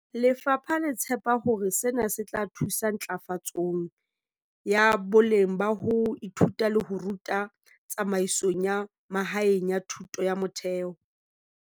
Lefapha le tshepa hore sena se tla thusa ntlafatsong ya boleng ba ho ithuta le ho ruta tsamaisong ya mahaeng ya thuto ya motheo.